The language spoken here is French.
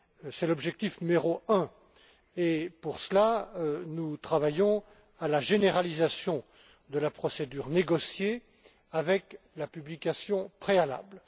C'est l'objectif numéro un. Pour cela, nous travaillons à la généralisation de la procédure négociée avec la publication préalable.